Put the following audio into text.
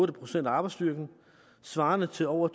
procent af arbejdsstyrken svarende til over